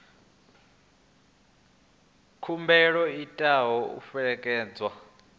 khumbelo i tea u fhelekedzwa